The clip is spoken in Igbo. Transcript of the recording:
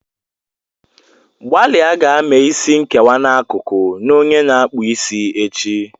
Gbalịa gaa mee isi nkewa n'akụkụ na onye na-akpụ isi echi.